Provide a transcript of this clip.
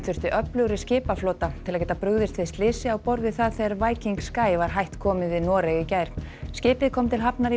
þyrfti öflugri skipaflota til að geta brugðist við slysi á borð það þegar Viking Sky var hætt komið við Noreg í gær skipið kom til hafnar í